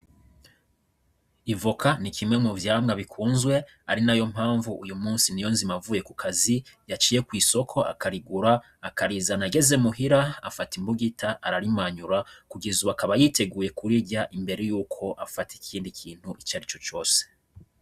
Ivoka ni kimwe mu vyamwa bikunzwe ari nayo mpamvu uyu musi Niyonzima avuye ku kazi yaciye kw'isoko akarigura akarizana, ageze muhira afata imbugita ararimanyura kugeza ubu akaba yiteguye kurirya imbere yuko afata ikindi kintu icari co cose.